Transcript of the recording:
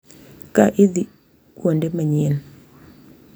Ka idhi kuonde manyien